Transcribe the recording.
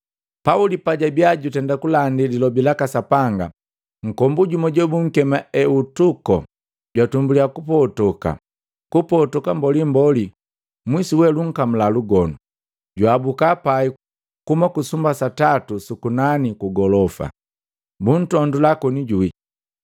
Pauli pajabiya jutenda kulandi lilobi laka Sapanga, nkombu jumu jobunkema Eutuko jwatumbulya kupotoka mbolimboli mwisu we lunkamula lugonu, jwaabuka pai kuhuma ku sumba satatu suku nani kugolofa. Buntondula koni juwi.